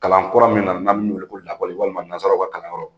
Kalan kura min nana mun wele ko lakɔli walima nanzara ka kalan yɔrɔ